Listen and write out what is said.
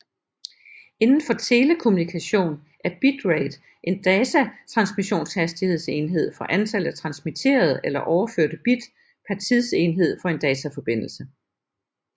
Indenfor telekommunikation er bitrate en datatransmissionshastighedsenhed for antallet af transmitterede eller overførte bit per tidsenhed for en dataforbindelse